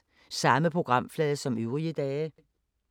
Samme programflade som øvrige dage